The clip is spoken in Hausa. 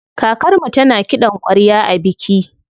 Kakarmu tana kiɗan ƙwarya a biki.